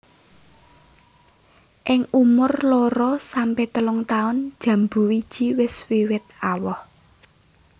Ing umur loro sampe telung taun jambu wiji wis wiwit awoh